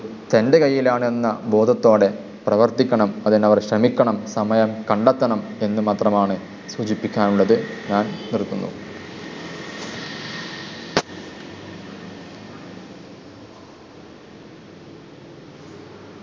തെണ്ടുകയില്ലായെന്ന ബോധത്തോടെ പ്രവർത്തിക്കണം അതിനവർ ശ്രമിക്കണം സമയം കണ്ടെത്തണം എന്ന് മാത്രമാണ് സൂചിപ്പിക്കാനുള്ളത്. ഞാൻ നിർത്തുന്നു.